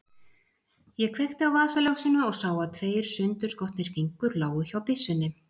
Ég kveikti á vasaljósinu og sá að tveir sundurskotnir fingur lágu hjá byssunni.